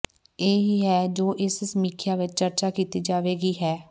ਇਹ ਹੀ ਹੈ ਜੋ ਇਸ ਸਮੀਖਿਆ ਵਿਚ ਚਰਚਾ ਕੀਤੀ ਜਾਵੇਗੀ ਹੈ